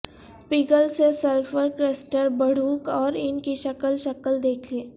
پگھل سے sulphur crystal بڑھو اور ان کی شکل شکل دیکھیں